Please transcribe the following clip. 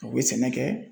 U bɛ sɛnɛ kɛ